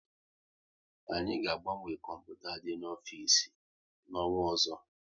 Anyị ga agbanwe kọmputa dị n'ofisi na-onwa ọzọ